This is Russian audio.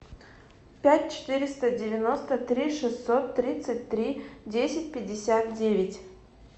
пять четыреста девяносто три шестьсот тридцать три десять пятьдесят девять